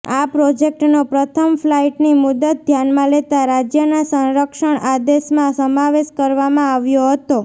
આ પ્રોજેક્ટનો પ્રથમ ફલાઈટની મુદત ધ્યાનમાં લેતા રાજ્યના સંરક્ષણ આદેશમાં સમાવેશ કરવામાં આવ્યો હતો